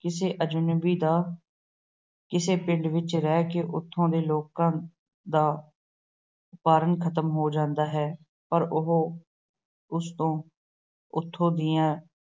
ਕਿਸੇ ਅਜਨਬੀ ਦਾ ਕਿਸੇ ਪਿੰਡ ਵਿੱਚ ਰਹਿ ਕੇ ਉੱਥੋਂ ਦੇ ਲੋਕਾਂ ਦਾ ਭਰਮ ਖਤਮ ਹੋ ਜਾਂਦਾ ਹੈ ਪਰ ਉਹ ਉਸ ਤੋਂ ਉਥੋਂ ਦੀਆਂ